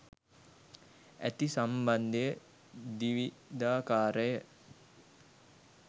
ඇති සම්බන්ධය ද්විධාකාරය.